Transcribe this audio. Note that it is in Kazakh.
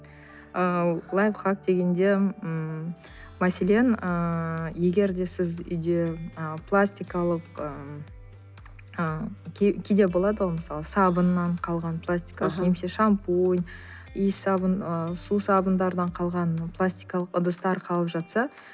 ы лайфхак дегенде ммм мәселен ыыы егер де сіз үйде ы пластикалық ыыы кейде болады ғой мысалы сабыннан қалған пластикалық немесе шампунь иіссабын ы сусабындардан қалған пластикалық ыдыстар қалып жатса